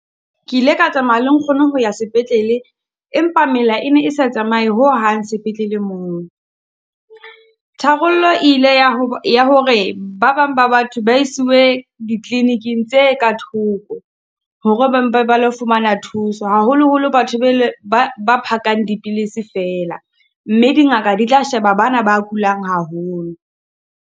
Ke ile ka tsamaya le nkgono ho ya sepetlele empa mela e ne e sa tsamaye hohang sepetlele moo. Tharollo e ile ya ya hore ba bang ba batho ba isiwe dikliniking tse ka thoko hore ba mpe ba lo fumana thuso, haholoholo batho be le ba ba ba phakang dipilisi fela. Mme dingaka di tla sheba ba na ba kulang haholo.